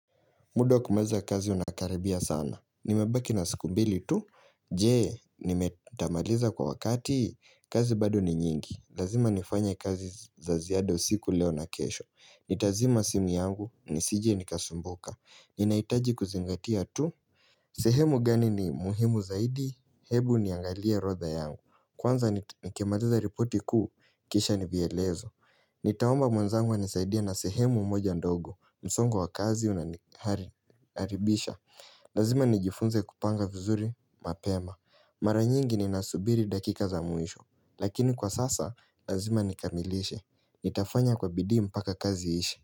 Muda kumaliza kazi unakaribia sana. Nimebaki na siku mbili tu. Je, nitamaliza kwa wakati, kazi bado ni nyingi. Lazima nifanye kazi za ziada siku leo na kesho. Nitazima simu yangu, nisije nikasumbuka. Ninahitaji kuzingatia tu. Sehemu gani ni muhimu zaidi? Hebu niangalie orodha yangu. Kwanza nikimaliza ripoti kuu, kisha ni vyelezo. Nitaomba mwenzangu anisaidie na sehemu moja ndogo. Msongo wa kazi unaharibisha Lazima nijifunze kupanga vizuri mapema Mara nyingi ninasubiri dakika za mwisho Lakini kwa sasa lazima nikamilishe Nitafanya kwa bidii mpaka kazi iishe.